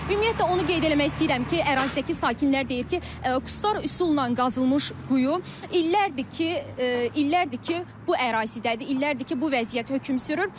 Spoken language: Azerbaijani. Ümumiyyətlə onu qeyd eləmək istəyirəm ki, ərazidəki sakinlər deyir ki, qustar üsulla qazılmış quyu illərdir ki, illərdir ki, bu ərazidədir, illərdir ki, bu vəziyyət hökm sürür.